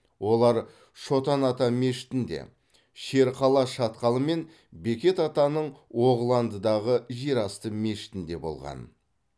олар шотан ата мешітінде шерқала шатқалы мен бекет атаның оғыландыдағы жерасты мешітінде болған